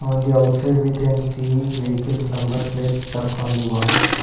On the outside we can see vehicles number plates stuck on the walls.